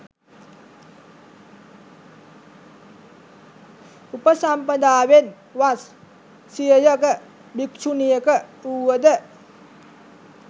උපසම්පදාවෙන් වස් සියයක භික්‍ෂුණියක වුවද